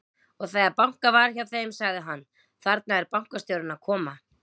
Og þegar bankað var hjá þeim, sagði hann: Þarna er bankastjórinn að koma.